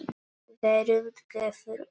Veröld gefur út.